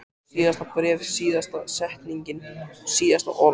Síðasta bréfið, síðasta setningin, síðasta orðið.